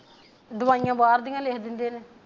ਦਵਾਈਆਂ ਬਾਹਰ ਦੀਆਂ ਈ ਲਿਖ ਦਿੰਦੇ ਨੇ